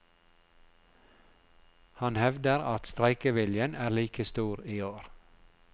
Han hevder at streikeviljen er like stor i år.